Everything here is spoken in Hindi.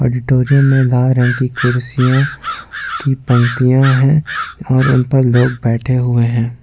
ऑडिटोरियम में लाल रंग की कुर्सियों की पंक्तियां हैं और उन पर लोग बैठे हुए हैं।